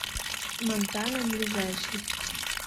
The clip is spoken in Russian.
монтана ближайший